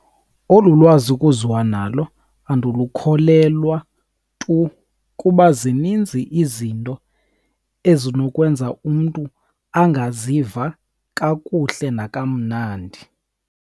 Olu lwazi kuziwa nalo andilukholelwa tu kuba zininzi izinto ezinokwenza umntu angaziva kakuhle nakamnandi.